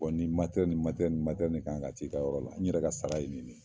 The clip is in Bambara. nin ni ni nin kan ka t'i ka yɔrɔ la n yɛrɛ ka sara ye nin de ye.